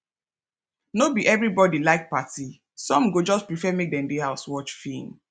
no be everybody like party some go just prefer make dem dey house watch film